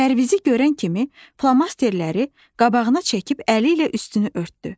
Pərvizi görən kimi flomasterləri qabağına çəkib əli ilə üstünü örtdü.